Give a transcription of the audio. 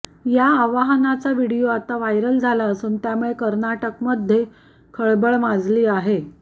या आवाहनाचा व्हीडिओ आता व्हायरल झाला असून त्यामुळे कर्नाटकमध्ये खळबळ माजली आहे